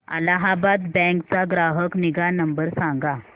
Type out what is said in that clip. Allahabad bank चा ग्राहक निगा नंबर सांगा